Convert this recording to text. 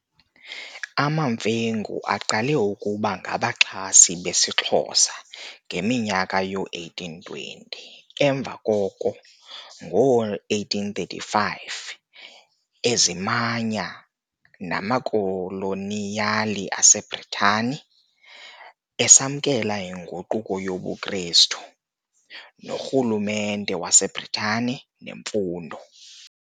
AmaMfengu aqala ukuba ngabaxhasi besiXhosa sama e ngeminyaka yoo-1820 emva koko, ngo-1835, azimanya namakoloniyali aseBritani, esamkela inguquko yobuKrestu, norhulumente waseBritane nemfundo.